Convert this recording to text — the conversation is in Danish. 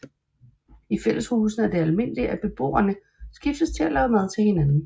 I fælleshusene er det almindeligt at beboerne skiftes til at lave mad til hinanden